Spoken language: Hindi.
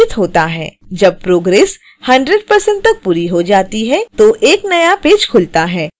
जब प्रोग्रेस 100% तक पूरी हो जाती है तो एक नया पेज खुलता है